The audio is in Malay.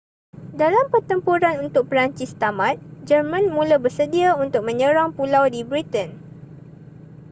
dengan pertempuran untuk perancis tamat jerman mula bersedia untuk menyerang pulau di britain